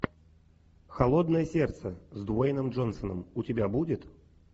холодное сердце с дуэйном джонсоном у тебя будет